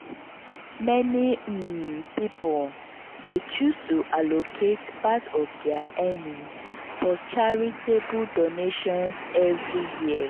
meni um pipul dey choose to allocate part of dia earnings for charitable donations every year.